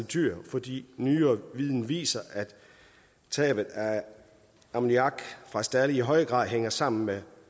dyr fordi nyere viden viser at tabet af ammoniak fra stalde i højere grad hænger sammen med